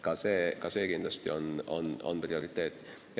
Ka see on kindlasti prioriteet.